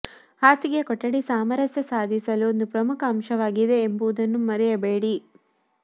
ಹಾಸಿಗೆ ಕೊಠಡಿ ಸಾಮರಸ್ಯ ಸಾಧಿಸಲು ಒಂದು ಪ್ರಮುಖ ಅಂಶವಾಗಿದೆ ಎಂಬುದನ್ನು ಮರೆಯಬೇಡಿ